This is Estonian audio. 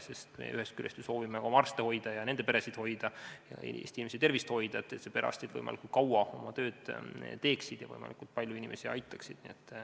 Sest ühest küljest me soovime ju ka oma arste hoida, nende peresid hoida, teisest küljest aga Eesti inimeste tervist hoida, nii et perearstid võimalikult kaua oma tööd teeksid ja võimalikult palju inimesi aitaksid.